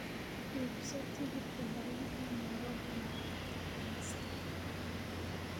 iibso tigidhka tareenka nairobi maalinta khamiista